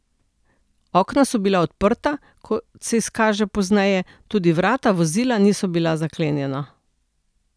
Okna so bila odprta, kot se izkaže pozneje, tudi vrata vozila niso bila zaklenjena.